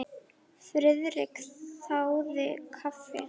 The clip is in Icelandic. Friðrik þáði kaffi.